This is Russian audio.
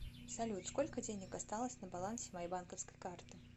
салют сколько денег осталось на балансе моей банковской карты